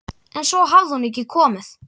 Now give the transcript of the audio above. En svo hafði hún ekki komið.